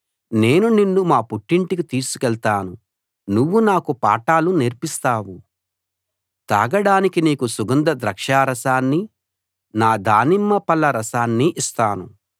నేను నిన్ను మా పుట్టింటికి తీసుకెళ్తాను నువ్వు నాకు పాఠాలు నేర్పిస్తావు తాగడానికి నీకు సుగంధ ద్రాక్షారసాన్ని నా దానిమ్మ పళ్ళ రసాన్ని ఇస్తాను